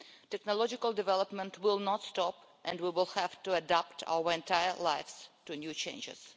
Technological development will not stop, and we will have to adapt throughout our lives to new changes.